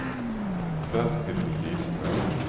Bertil Lidström